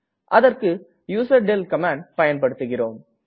அதற்க்கு யூசர்டெல் கமாண்டை பயன்படுத்துகிறோம்